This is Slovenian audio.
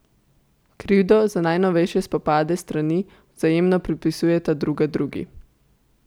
Krivdo za najnovejše spopade strani vzajemno pripisujeta druga drugi.